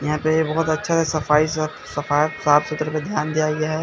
यहां पे बहोत अच्छा सफाई सफ सफा साफ सुथरे पे ध्यान दिया गया है।